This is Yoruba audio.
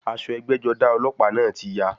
Aṣọ ẹgbẹ́-jọdá ọlọ́pàá náà ti ya.